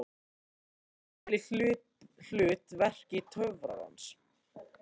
Hann stendur sig vel í hlut verki töffarans.